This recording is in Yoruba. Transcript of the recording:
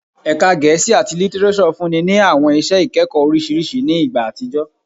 Ẹka Ẹka Gẹẹsi ati Litireso funni ni awọn iṣẹ ikẹkọ oriṣiriṣi ni igba atijọ